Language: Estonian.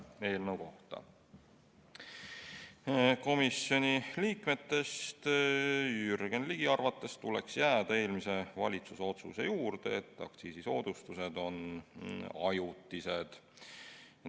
Komisjoni liikme Jürgen Ligi arvates tuleks jääda eelmise valitsuse otsuse juurde, et aktsiisisoodustused on ajutised.